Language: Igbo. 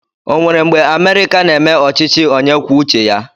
O nwere mgbe Amerịka na-eme ọchịchị onye kwuo uche ya?